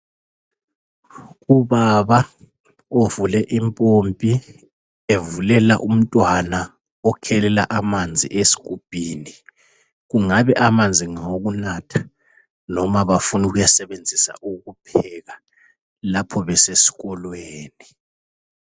Ubaba uvule impompi evulela umntwana okhelela amanzi esigubhini kungabe amanzi ngawokunatha noma bafuna ukusebenzisa ukupheka lapho besesikolweni.